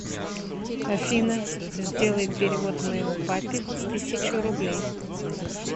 афина сделай перевод моему папе тысячу рублей